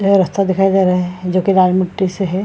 ये रास्ता दिखाई दे रहे हैं जो की लाल मिट्टी से है।